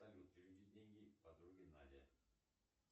салют переведи деньги подруге наде